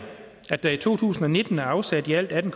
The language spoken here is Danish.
at der i to tusind og nitten er afsat i alt atten